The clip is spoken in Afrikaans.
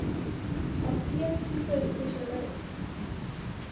apteek tipe spesialis